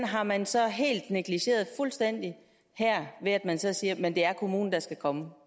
har man så negligeret fuldstændig her ved at man så siger at det er kommunen der skal komme